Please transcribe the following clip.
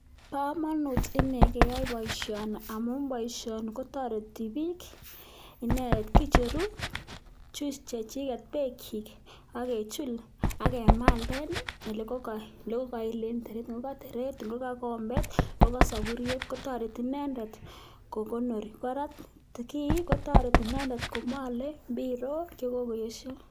Bo komonut inei keyai boisioni amun boisioni kotoreti biik, kicheru juice chechiket beek kyik akechul akemalen olekokail en teret, ngokoteret ngokakombet ngokasoburiet kotoreti inendet kokonori. Kiit kotoreti inendet komale mbirok chekokoyesyo.